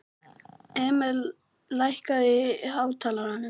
Emil, lækkaðu í hátalaranum.